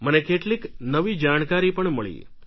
મને કેટલીક નવી જાણકારી પણ મળી